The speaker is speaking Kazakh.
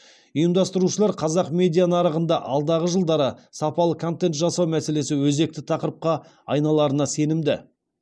ұйымдастырушылар қазақ медиа нарығында алдағы жылдары сапалы контент жасау мәселесі өзекті тақырыпқа айналарына сенімді